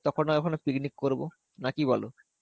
তখন নাহয় ওখানে picnic করবো. না কি বলো?